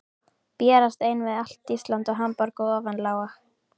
Berjast einn við allt Ísland og Hamborg í ofanálag?